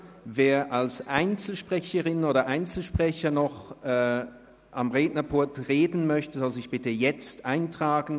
Wer als Einzelsprecherin oder Einzelsprecher noch am Rednerpult sprechen möchte, soll sich bitte jetzt eintragen;